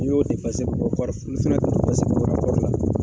Ni y'o bɔ